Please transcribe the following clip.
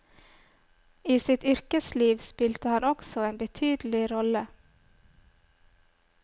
I sitt yrkesliv spilte han også en betydelig rolle.